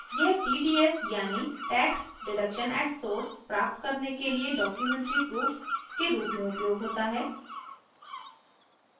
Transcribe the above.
यह tds यानि tax deductions at source प्राप्त करने के लिए documentary proof के रूप में उपयोग होता है